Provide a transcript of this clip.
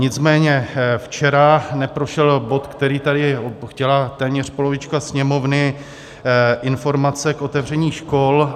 Nicméně včera neprošel bod, který tady chtěla téměř polovička Sněmovny - informace k otevření škol.